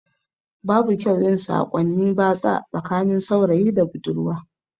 Babu kyau yin sakonni batsa tsakanin saurayi da budurwa